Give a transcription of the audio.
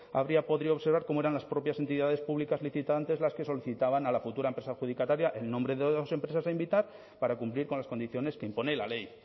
habría podido observar cómo eran las propias entidades públicas licitantes las que solicitaban a la futura empresa adjudicataria el nombre de dos empresas a invitar para cumplir con las condiciones que impone la ley